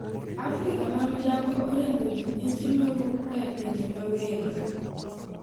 Afrika ma milambo oriembo ji miche ma wuok e pinje ma welo.